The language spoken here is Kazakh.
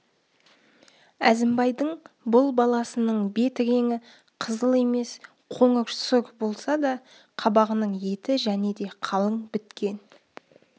әзімбайдың бұл баласының бет реңі қызыл емес қоңыр сұр болса да қабағының еті және де қалың біткен